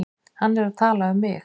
Hann er að tala um mig.